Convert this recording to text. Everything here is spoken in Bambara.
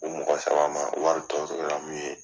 U mɔgɔ saba ma, wari tɔ toro min ye